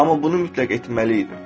Amma bunu mütləq etməliydim.